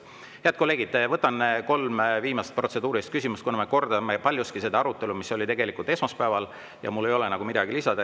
Head kolleegid, võtan kolm viimast protseduurilist küsimust, kuna me kordame paljuski seda arutelu, mis oli juba esmaspäeval, ja mul ei ole midagi lisada.